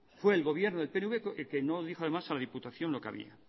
fue el gobierno del pnv que no dijo además a la diputación lo que había